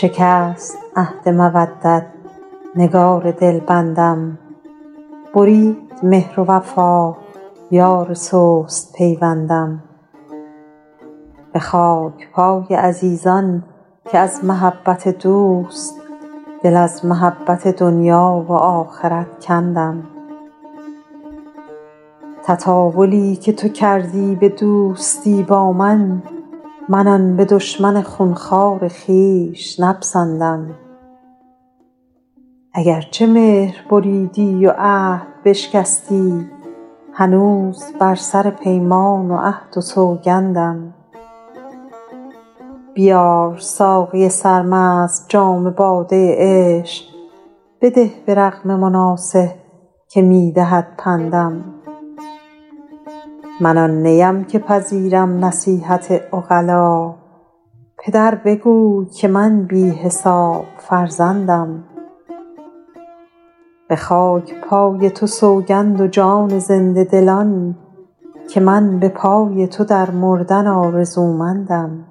شکست عهد مودت نگار دلبندم برید مهر و وفا یار سست پیوندم به خاک پای عزیزان که از محبت دوست دل از محبت دنیا و آخرت کندم تطاولی که تو کردی به دوستی با من من آن به دشمن خون خوار خویش نپسندم اگر چه مهر بریدی و عهد بشکستی هنوز بر سر پیمان و عهد و سوگندم بیار ساقی سرمست جام باده عشق بده به رغم مناصح که می دهد پندم من آن نیم که پذیرم نصیحت عقلا پدر بگوی که من بی حساب فرزندم به خاک پای تو سوگند و جان زنده دلان که من به پای تو در مردن آرزومندم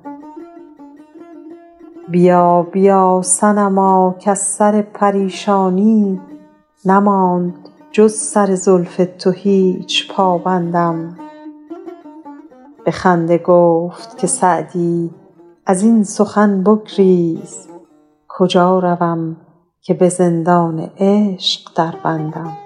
بیا بیا صنما کز سر پریشانی نماند جز سر زلف تو هیچ پابندم به خنده گفت که سعدی از این سخن بگریز کجا روم که به زندان عشق دربندم